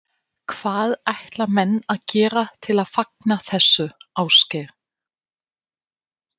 Hvað ætla menn að gera til að fagna þessu, Ásgeir?